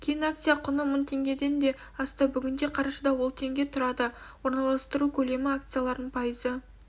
кейін акция құны мың теңгеден де асты бүгінде қарашада ол теңге тұрады орналастыру көлемі акцияларының пайызы